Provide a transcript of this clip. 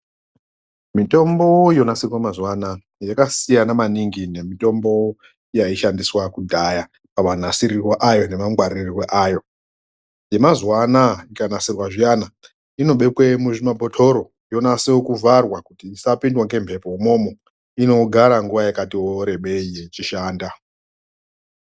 Mitombo yonasirwa mazuva anaya yakasiyana maningi nemitombo yaishandiswa kudhaya pamanasirirwe ayo nemangwaririrwe ayo. Yemazuwa anaya ikanasirwa zviyana, inobekwe muzvimabhotoro yonase kuvharwa kuti isapindwa ngemhepo umomo. Inogara nguwa yakatiwo rebei ichishanda.